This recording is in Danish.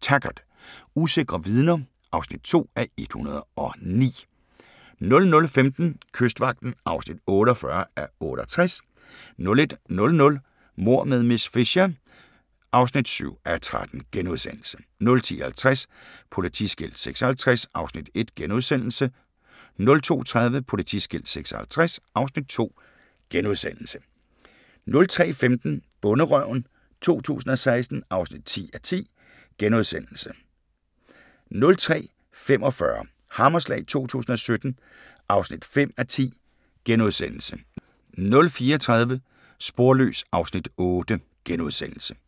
Taggart: Usikre vidner (2:109) 00:15: Kystvagten (48:68) 01:00: Mord med miss Fisher (7:13)* 01:50: Politiskilt 56 (Afs. 1)* 02:30: Politiskilt 56 (Afs. 2)* 03:15: Bonderøven 2016 (10:10)* 03:45: Hammerslag 2017 (5:10)* 04:30: Sporløs (Afs. 8)*